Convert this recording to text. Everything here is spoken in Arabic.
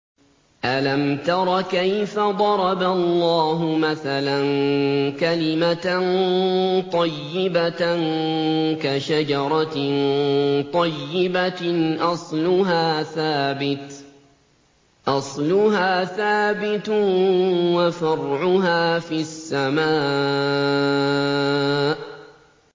أَلَمْ تَرَ كَيْفَ ضَرَبَ اللَّهُ مَثَلًا كَلِمَةً طَيِّبَةً كَشَجَرَةٍ طَيِّبَةٍ أَصْلُهَا ثَابِتٌ وَفَرْعُهَا فِي السَّمَاءِ